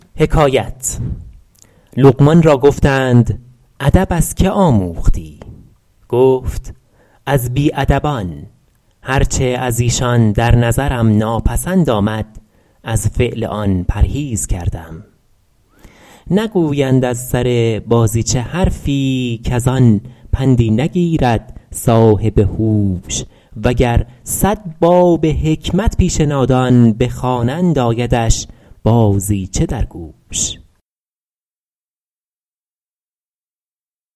لقمان را گفتند ادب از که آموختی گفت از بی ادبان هر چه از ایشان در نظرم ناپسند آمد از فعل آن پرهیز کردم نگویند از سر بازیچه حرفی کز آن پندی نگیرد صاحب هوش و گر صد باب حکمت پیش نادان بخوانند آیدش بازیچه در گوش